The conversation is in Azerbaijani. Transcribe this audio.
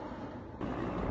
Maşının səsi idi bu.